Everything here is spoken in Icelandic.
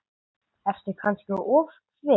Ertu kannski ofvirk?